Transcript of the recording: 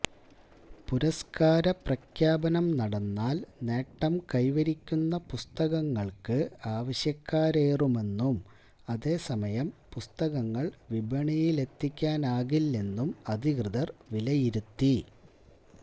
പുരസ്കാര പ്രഖ്യാപനം നടന്നാല് നേട്ടം കൈവരിക്കുന്ന പുസ്തകങ്ങള്ക്ക് ആവശ്യക്കാരേറുമെന്നും അതേസമയം പുസ്തകങ്ങള് വിപണിയിലെത്തിക്കാനാകില്ലെന്നും അധികൃതര് വിലയിരുത്തി